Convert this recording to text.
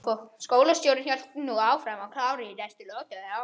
Skólastjórinn hélt nú áfram, klár í næstu lotu.